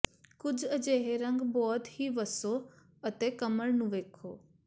ਕੁਝ ਅਜਿਹੇ ਰੰਗ ਬਹੁਤ ਹੀ ਵੱਸੋ ਅਤੇ ਕਮਰ ਨੂੰ ਵੇਖੋ